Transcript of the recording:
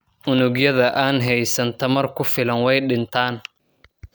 Unugyada aan haysan tamar ku filan way dhintaan.